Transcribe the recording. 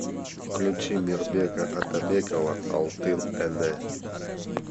включи мирбека атабекова алтын эне